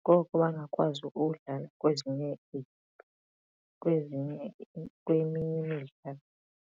ngoko bangakwazi ukudlala kwimidlalo.